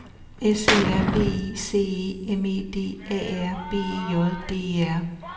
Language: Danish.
S E R V I C E M E D A R B E J D E R